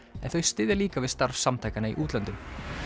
en þau styðja líka við starf samtakanna í útlöndum